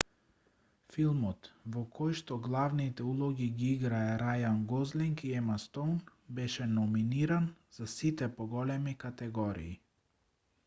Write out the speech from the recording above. филмот во којшто главните улоги ги играа рајан гослинг и ема стоун беше номиниран за сите поголеми категории